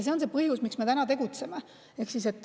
See on põhjus, miks me tegutseme.